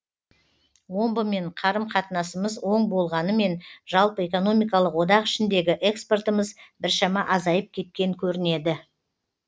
омбымен қарым қатынасымыз оң болғанымен жалпы экономикалық одақ ішіндегі экспортымыз біршама азайып кеткен көрінеді